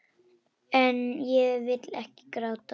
En ég vil ekki gráta.